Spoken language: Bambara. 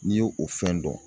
N'i ye o fɛn dɔn